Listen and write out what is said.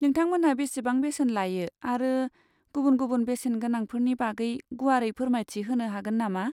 नोंथामोनहा बेसेबां बेसेन लायो आरो गुबुन गुबुन बेसेन गोनांफोरनि बागै गुवारै फोरमायथि होनो हागोन नामा?